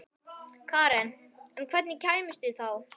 Karen: En hvernig kæmuð þið þá?